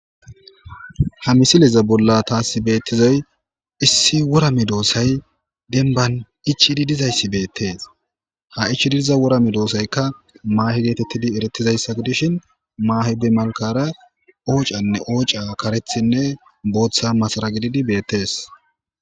Ha misiliza bolla taasi beettizay issi wora medoosay denban ichidi dizayssi beettees. Ha ichidi diza wora medoosaykka maahe geetettidi erettizayssa gidishin,maahe be malkara oocanne ooca karethinne booththa masara gididi beettees.